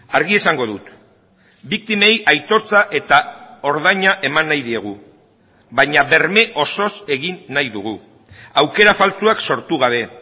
argi esango dut biktimei aitortza eta ordaina eman nahi diegu baina berme osoz egin nahi dugu aukera faltsuak sortu gabe